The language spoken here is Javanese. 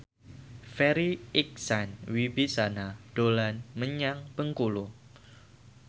Farri Icksan Wibisana dolan menyang Bengkulu